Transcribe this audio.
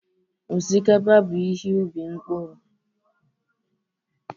Osikapa bụ ihe ubi mkpụrụ.